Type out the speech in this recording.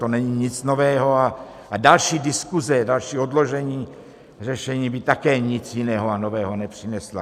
To není nic nového a další diskuze, další odložení řešení by také nic jiného a nového nepřineslo.